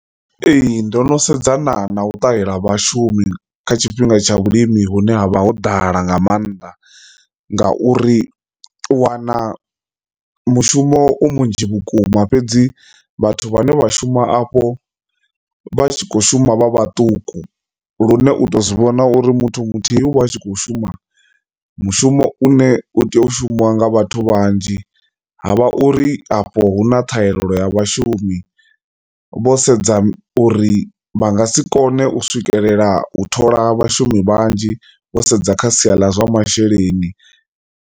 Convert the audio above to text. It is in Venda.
Ee, ndo no sedzana na u ṱahela vhashumi kha tshifhinga tsha vhulimi hune havha ho ḓala nga maanḓa nga uri wana mushumo u munzhi vhukuma fhedzi vhathu vhane vha shuma afho vha tshi kho shuma vha vhaṱuku lune u to zwivhona uri muthu muthihi u vha a tshi kho shuma mushumo une u tea u shumisiwa nga vhathu vhanzhi. Ha vha uri afho hu na ṱhahelelo ya vhashumi vho sedza uri vha nga si kone u swikelela u thola vhashumi vhanzhi vho sedza kha sia ḽa zwa masheleni.